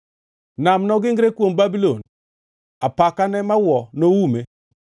Nam nogingre kuom Babulon; apakane mawuo noume.